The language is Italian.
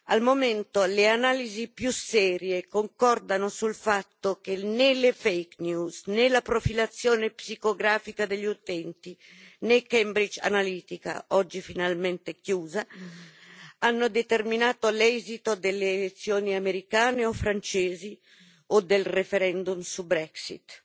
Al momento, le analisi più serie concordano sul fatto che né le fake news né la profilazione psicografica degli utenti, né Cambridge Analytica oggi finalmente chiusa hanno determinato l'esito delle elezioni americane o francesi o del referendum sulla Brexit.